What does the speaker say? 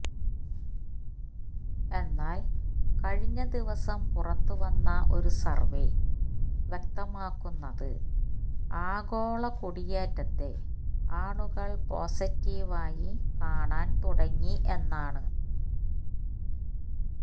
എന്നാല് കഴിഞ്ഞ ദിവസം പുറത്തുവന്ന ഒരു സര്വ്വേ വ്യക്തമാക്കുന്നത് ആഗോള കുടിയേറ്റത്തെ ആളുകള് പോസട്ടീവായി കാണാന് തുടങ്ങി എന്നാണ്